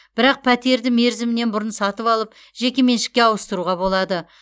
бірақ пәтерді мерзімінен бұрын сатып алып жекеменшікке ауыстыруға болады